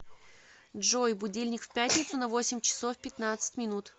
джой будильник в пятницу на восемь часов пятнадцать минут